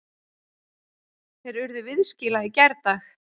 Þeir urðu viðskila í gærdag.